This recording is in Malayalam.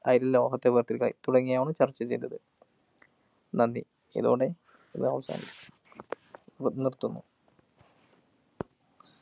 അയിരില്‍ ലോഹത്തെ വേര്‍ത്തിരിക്കല്‍ തുടങ്ങിയവയാണ് ചര്‍ച്ച ചെയ്തത്. നന്ദി. ഇതോടെ ഇവിടെ അവസാനിക്കു നി നിര്‍ത്തുന്നു.